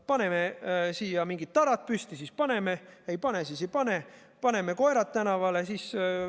Paneme siia mingid tarad püsti, siis paneme koerad tänavale.